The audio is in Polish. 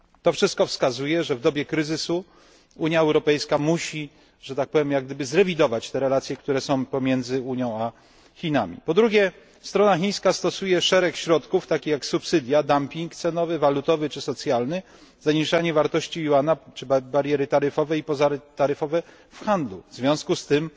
Wszystko to wskazuje, że w dobie kryzysu Unia Europejska musi, że tak powiem, zrewidować relacje pomiędzy Unią a Chinami. Po drugie, strona chińska stosuje szereg środków, takich jak subsydia, dumping cenowy, walutowy czy socjalny, zaniżanie wartości juana czy bariery taryfowe i pozataryfowe w handlu. W związku z tym